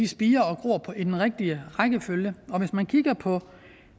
spirer og gror i den rigtige rækkefølge hvis man kigger på